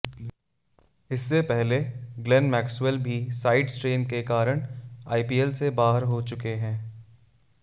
इससे पहले Glenn Maxwell भी साइड स्ट्रेन के कारण आईपीएल से बाहर हो चुके हैं